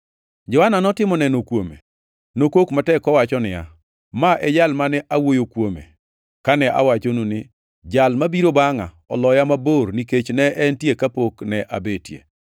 Johana notimo neno kuome. Nokok matek kowacho niya, “Ma e Jal mane awuoyo kuome kane awachonu ni, ‘Jal mabiro bangʼa oloya mabor nikech ne entie kapok ne abetie.’ ”